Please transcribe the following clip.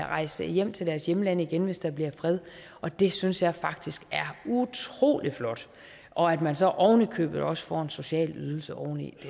rejse hjem til deres hjemland igen hvis der bliver fred og det synes jeg faktisk er utrolig flot og at man så oven i købet også får en social ydelse oveni